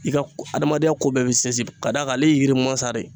I ka adamadenya ko bɛɛ bɛ sinsin ka d'a kan ale ye yiri mansa de